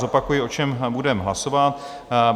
Zopakuji, o čem budeme hlasovat.